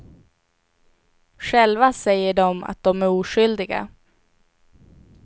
Själva säger de att de är oskyldiga.